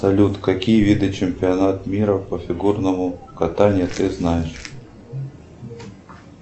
салют какие виды чемпионат мира по фигурному катанию ты знаешь